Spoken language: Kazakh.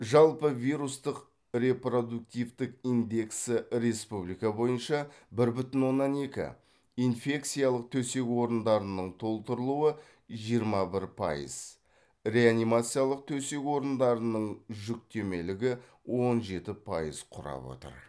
жалпы вирустың репродуктивтік индексі республика бойынша бір бүтін оннан екі инфекциялық төсек орындарының толтырылуы жиырма бір пайыз реанимациялық төсек орындарының жүктемелігі он жеті пайыз құрап отыр